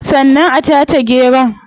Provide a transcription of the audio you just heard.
Sannan a tace geron